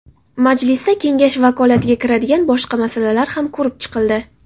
Majlisda Kengash vakolatiga kiradigan boshqa masalalar ham ko‘rib chiqildi.